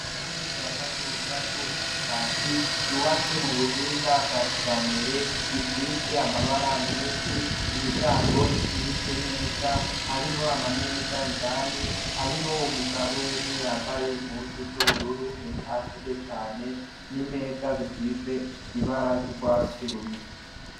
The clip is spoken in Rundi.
Ishure rya kaminuza ry'ubushakashatsi ryubatse mu buhinga bwa kijambere, risize amabara menshi, imiryango isize neza. Hariho ama meza indani, hariho umugabo umwe yambaye impuzu z'ubururu eka ashaje cane n'imeza zisize ibara ry'urwatsi rubisi.